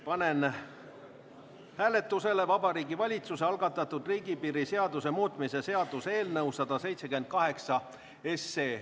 Panen hääletusele Vabariigi Valitsuse algatatud riigipiiri seaduse muutmise seaduse eelnõu 178.